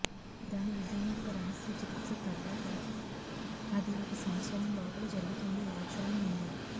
దాని విజయం యొక్క రహస్య చికిత్స తర్వాత అది ఒక సంవత్సరం లోపల జరుగుతుంది వాస్తవం ఉంది